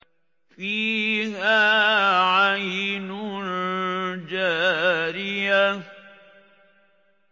فِيهَا عَيْنٌ جَارِيَةٌ